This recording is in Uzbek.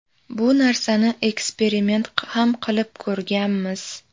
Bu narsani eksperiment ham qilib ko‘rganmiz.